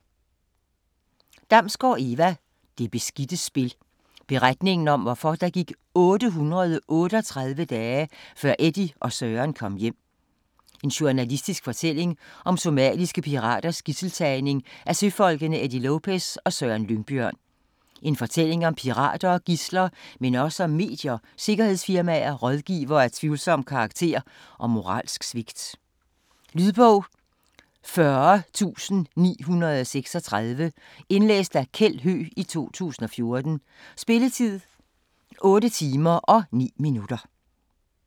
Damsgaard, Eva: Det beskidte spil: beretningen om hvorfor der gik 838 dage, før Eddy og Søren kom hjem Journalistisk fortælling om somaliske piraters gidselstagning af søfolkene Eddy Lopez og Søren Lyngbjørn. En fortælling om pirater og gidsler, men også om medier, sikkerhedsfirmaer, rådgivere af tvivlsom karakter og moralsk svigt. Lydbog 40936 Indlæst af Kjeld Høegh, 2014. Spilletid: 8 timer, 9 minutter.